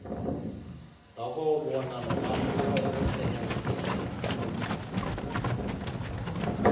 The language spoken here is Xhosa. nokuwubona nomahluko ekusebenzieni